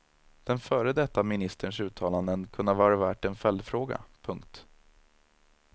Den före detta ministerns uttalanden kunde ha varit värt en följdfråga. punkt